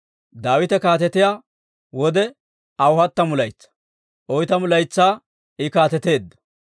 Daawite kaatetiyaa wode aw hattamu laytsaa; oytamu laytsaa I kaateteedda.